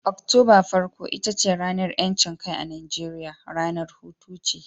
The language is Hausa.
Oktoba farko ita ce ranar 'yancin kai a Najeriya, ranar hutu ce